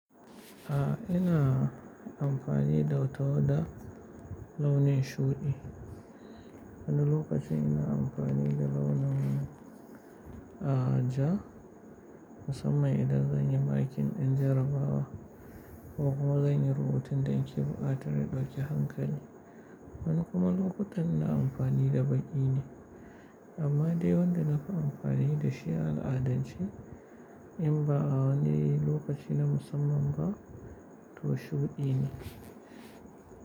A ina amfani da wata da launin shuɗi. Wani lokaci ina amfani da launin a ja musamman idan zan yi makin in jabawa ko kuma zan yi rubutun ɗake buƙatar ɗauke hankali. Wani kuma lokutan ina amfani da baƙi ne. Amma dai wanda nafi amfani da shi ala'adanci in ba a wani lokaci na musamman ba to shuɗi ne.